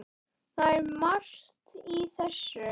Það er margt í þessu.